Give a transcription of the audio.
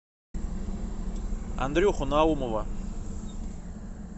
андрюху наумова